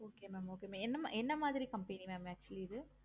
okay mam okay mam எந்த மாதிரி company mam actually இது